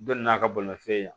Dɔ n'a ka bolimafɛn